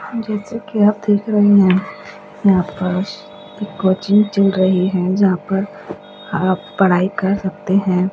जैसे कि आप देख रहे हैं यहां पर एक कोचिंग चल रही है जहां पर आप पढ़ाई कर सकते हैं।